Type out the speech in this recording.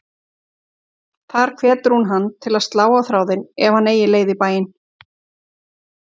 Þar hvetur hún hann til að slá á þráðinn ef hann eigi leið í bæinn.